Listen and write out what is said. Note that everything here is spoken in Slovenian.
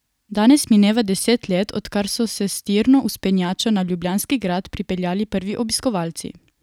Danes mineva deset let, odkar so se s tirno vzpenjačo na ljubljanski grad pripeljali prvi obiskovalci.